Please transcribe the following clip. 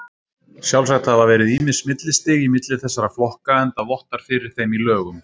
Sjálfsagt hafa verið ýmis millistig í milli þessara flokka, enda vottar fyrir þeim í lögum.